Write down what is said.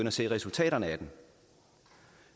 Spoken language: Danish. at se resultaterne af den